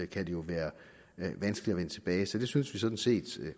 kan det jo være vanskeligt at vende tilbage så det synes vi sådan set